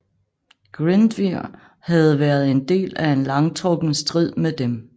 Glyndwr havde været en del af en langtrukken strid med dem